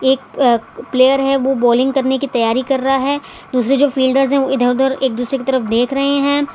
एक प आ प्लेयर है वो बॉलिंग करने की तयारी कर रहे है दूसरे जो फील्डर्स है वो इधर उधर एक दूसरे के तरफ देख रहे है।